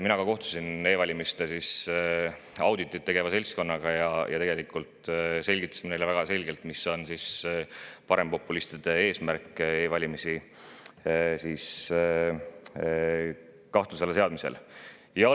Mina kohtusin e‑valimiste auditit tegeva seltskonnaga ja selgitasin neile väga selgelt, mis on parempopulistide eesmärk e‑valimiste kahtluse alla seadmisel.